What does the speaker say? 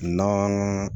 Nɔnɔ